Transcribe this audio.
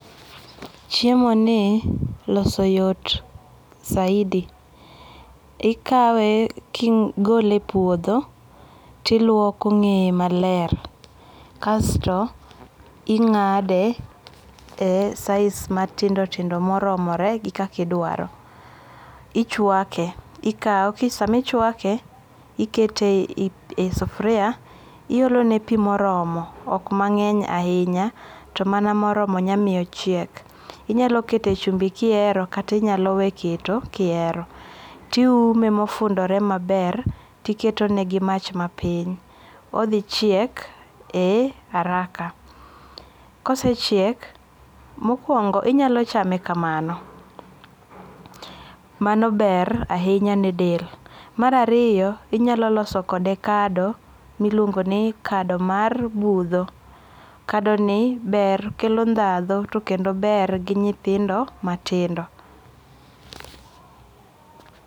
Chiemo ni loso yot saidi. Ikawe kigole e puodho tiluoko ng'eye maler. Kasto ing'ade e size matindo tindo moromore gi kakidwaro. Ichwake, ikaw. Samichwake ikete e sufuria. Iolone pi moromo. Ok mang'eny ahinya to mana moromo manyalo miyo ochiek. Inyalo kete chumbi kihero kata inyalowe keto kihero. Tiume mofundore maber tiketo ne gi mapich. Odh ckiek e haraka. Kosechiek, mokuongo inyalo chame kamano. Mano ber ahinya ne del. Mar ariyo inyalo loso kode kado miluongo ni kado mar budho. Kado ni ber kelo dhahdo to kendo ber gi nyithindo matindo.